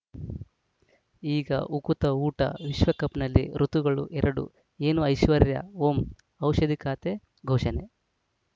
ಈಗ ಉಕುತ ಊಟ ವಿಶ್ವಕಪ್‌ನಲ್ಲಿ ಋತುಗಳು ಎರಡು ಏನು ಐಶ್ವರ್ಯಾ ಓಂ ಔಷಧಿ ಖಾತೆ ಘೋಷಣೆ